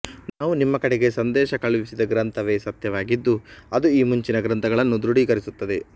ನಾವು ನಿಮ್ಮ ಕಡೆಗೆ ಸಂದೇಶ ಕಳುಹಿಸಿದ ಗ್ರಂಥವೇ ಸತ್ಯವಾಗಿದ್ದು ಅದು ಈ ಮುಂಚಿನ ಗ್ರಂಥಗಳನ್ನು ದೃಢೀಕರಿಸುತ್ತದೆ